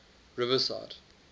riverside